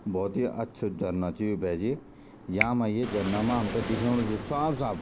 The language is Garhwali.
भौत ही अच्छू झरना च यू भेेजी यामा ये झरना मा हमथे दिख्योणु च साफ साफ।